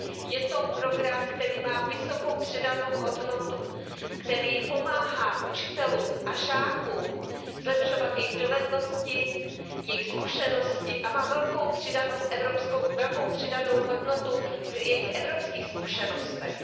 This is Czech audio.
Je to program, který má vysokou přidanou hodnotu, který pomáhá učitelům a žákům zlepšovat jejich dovednosti, jejich zkušenosti a má velkou přidanou hodnotu v jejich evropských zkušenostech.